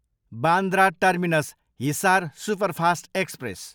Bandra terminus, Hisar superfast express